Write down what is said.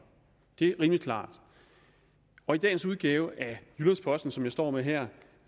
det er rimelig klart af dagens udgave af jyllands posten som jeg står med her